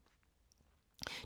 DR2